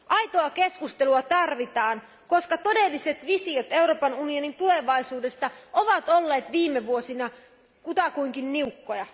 Aitoa keskustelua tarvitaan, koska todelliset visiot Euroopan unionin tulevaisuudesta ovat olleet viime vuosina kutakuinkin niukkoja.